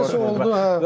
Necəsə oldu.